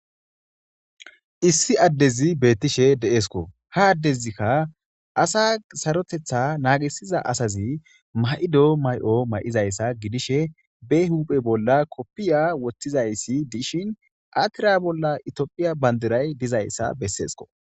Issi addezi beettishe deesko ha addezikka asa sarotetha naagisiza asazi mayido may7o may7izayssa gidishe be huphe bolla koppiya woththizayssi dishin atira bolla itiophiya bandiray dizayssa besseesko.